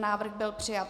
Návrh byl přijat.